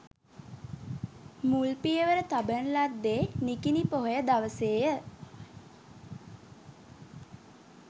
මුල් පියවර තබන ලද්දේ නිකිණි පොහොය දවසේ ය.